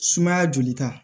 Sumaya joli ta